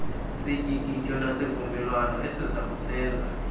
sityikityo nasivumelwano esizakusenza